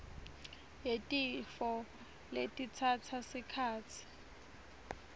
yetifo letitsatsa sikhatsi